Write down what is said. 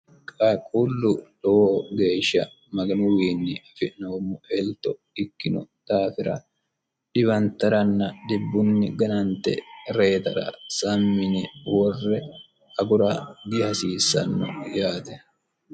qaaqullu lowo geeshsha maganuwiinni afi'noommo elto ikkino daafira dhiwantaranna dibbunni ganante reetara sammi yine worre agura dihasiissanno yaate